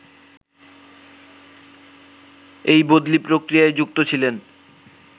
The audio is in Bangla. এই বদলি প্রক্রিয়ায় যুক্ত ছিলেন